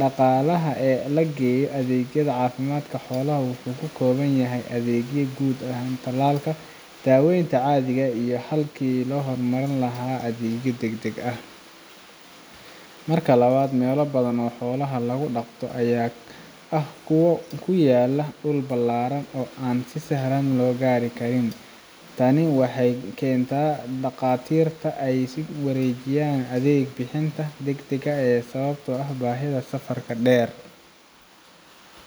dhaqaalaha la geliyo adeegyada caafimaadka xoolaha wuxuu ku kooban yahay adeegyada guud ee tallaalka iyo daaweynta caadiga ah, halkii laga hormarin lahaa adeegyo degdeg ah. Marka labaad, meelo badan oo xoolaha lagu dhaqdo ayaa ah kuwo ku yaalla dhul ballaaran oo aan si sahal ah loo gaari karin. Tani waxay keentaa in dhaqaatiirta ay ka warwareegaan adeeg bixinta degdegga ah sababtoo ah baahida safarka dheer,